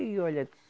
Aí, olha.